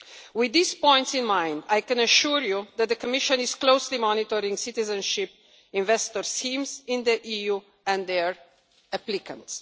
With these points in mind, I can assure you that the Commission is closely monitoring citizenship investor schemes in the EU and their applicants.